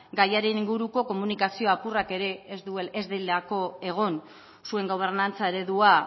gaiaren inguruko komunikazio apurrak ere ez delako egon zuen gobernantza eredua